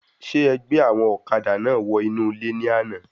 Ṣe ẹ gbẹ́ àwọn ọ̀kadà náà wọ inú ilé ní àna?